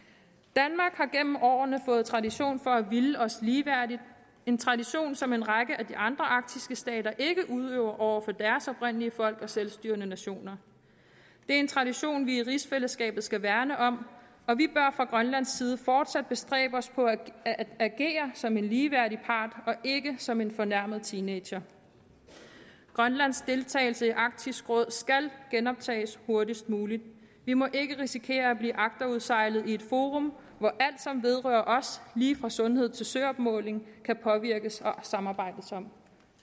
danmark har gennem årene fået tradition for at ville os ligeværdigt en tradition som en række af de andre arktiske stater ikke udøver over for deres oprindelige folk og selvstyrende nationer det er en tradition vi i rigsfællesskabet skal værne om og vi bør fra grønlands side fortsat bestræbe os på at agere som en ligeværdig part ikke som en fornærmet teenager grønlands deltagelse i arktisk råd skal genoptages hurtigst muligt vi må ikke risikere at blive agterudsejlet i et forum hvor alt som vedrører os lige fra sundhed til søopmåling kan påvirkes og samarbejdes om